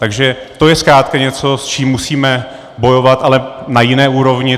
Takže to je zkrátka něco, s čím musíme bojovat, ale na jiné úrovni.